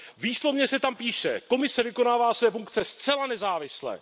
Výslovně se tam píše Komise vykonává své funkce zcela nezávisle.